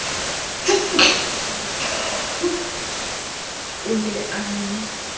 o se ne a ye